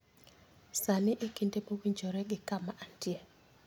sani e kinde mowinjore gi kama antie